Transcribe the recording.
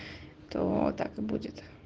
то так и будет